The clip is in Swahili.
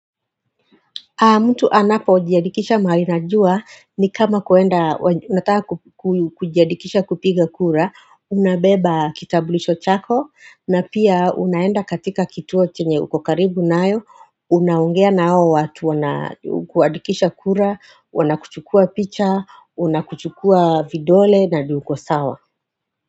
Mtu anapo jiandikisha mahali najua ni kama kuenda, unataka kujiandikisha kupiga kura, unabeba kitambulisho chako, na pia unaenda katika kituo chenye uko karibu nayo, unaongea na hawo watu wanakuandikisha kura, wanakuchukua picha, wanakuchukua vidole na uko sawa.